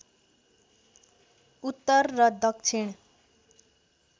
उत्तर र दक्षिण